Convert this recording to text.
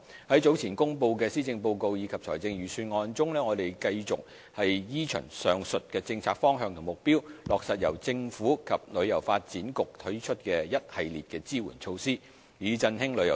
在早前公布的施政報告及財政預算案中，我們繼續依循上述政策方向及目標，落實由政府及香港旅遊發展局推出一系列的支援措施，以振興旅遊業。